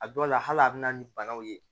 A dɔw la hal'a be na ni banaw ye